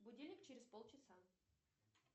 будильник через пол часа